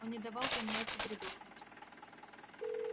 он не давал пониетсу передохнуть